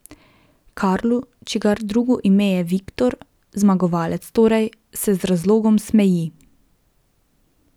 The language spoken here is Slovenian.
Karlu, čigar drugo ime je Viktor, zmagovalec torej, se z razlogom smeji.